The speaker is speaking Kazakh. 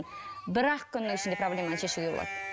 бір ақ күннің ішінде проблеманы шешуге болады